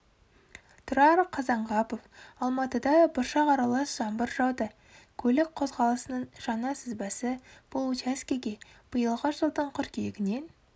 тұрара қазанғапов алматыда бұршақ аралас жаңбыр жауды көлік қозғалысының жаңа сызбасы бұл учаскеге биылғы жылдың қыркүйегінен